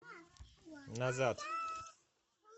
назад